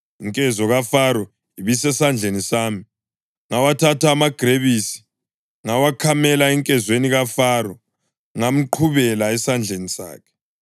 Inkezo kaFaro ibisesandleni sami, ngawathatha amagrebisi ngawakhamela enkezweni kaFaro ngamqhubela esandleni sakhe.”